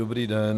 Dobrý den.